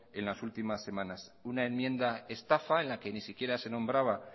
en las últimas semanas una enmienda estafa en la que ni siquiera se nombraba